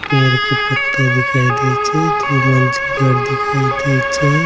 पेड़ के पत्ता दिखाई देइ छई दो मंजिल घर दिखाई देइ छई।